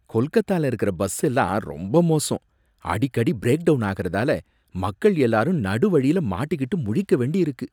கொல்கத்தால இருக்கிற பஸ்ஸெல்லாம் ரொம்ப மோசம், அடிக்கடி பிரேக் டவுன் ஆகறதால மக்கள் எல்லாரும் நடுவழியில மாட்டிக்கிட்டு முழிக்க வேண்டியிருக்கு.